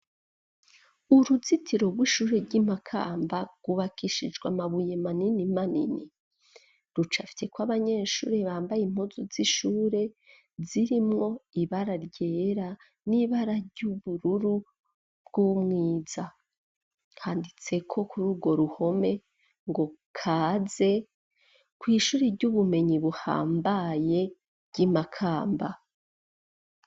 Uruzitiro rw'ishure ry'i Makamba rwubakishijwe amabuye manini manini rucafyeko abanyeshure bambaye impuzu z'ishure zirimwo ibara ryera n'ibara ry'ubururu bw'umwiza. Handitseko kuri urwo ruhome ngo kaze kw'ishure ry'ubumenyi buhambaye ry'i Makamba.